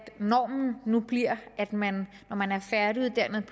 normen nu bliver at man når man er færdiguddannet